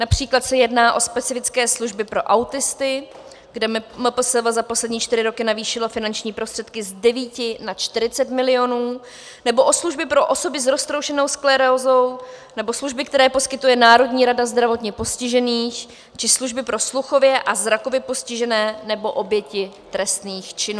Například se jedná o specifické služby pro autisty, kde MPSV za poslední čtyři roky navýšilo finanční prostředky z 9 na 40 milionů, nebo o služby pro osoby s roztroušenou sklerózou, nebo služby, které poskytuje Národní rada zdravotně postižených, či služby pro sluchově a zrakově postižené, nebo oběti trestných činů.